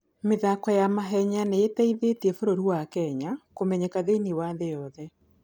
mĩthako ya mahenya nĩ ĩteithĩtie bũrũri wa Kenya kũmenyeka thĩinĩ wa thĩ yothe.